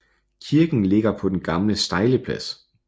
Kirken ligger på den gamle stejleplads